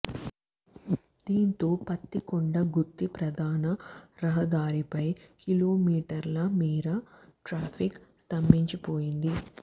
దీంతో పత్తికొండ గుత్తి ప్రధాన రహదారిపై కిలోమీటర్ల మేర ట్రాఫిక్ స్తంభించిపోయింది